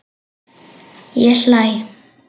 Ég hlæ.